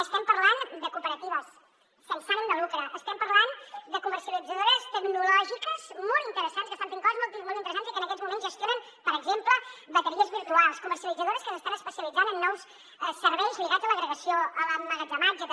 estem parlant de cooperatives sense ànim de lucre estem parlant de comercialitzadores tecnològiques molt interessants que estan fent coses molt interessants i que en aquests moments gestionen per exemple bateries virtuals comercialitzadores que s’estan especialitzant en nous serveis lligats a l’agregació a l’emmagatzematge també